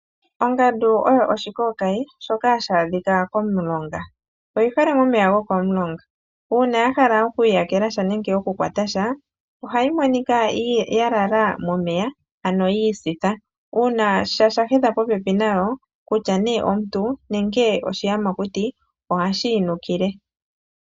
Ongandu oyo oshikookayi shoka hashi adhika komulonga, oyi hole momeya gokomulonga. Uuna ya hala okwii yakela sha nenge oku kwata sha ohayi monika ya lala momeya ano yi isitha, uuna sha shahedha popepi nayo kutya nee omuntu nenge oshiyamakuti ohashi yi nukile.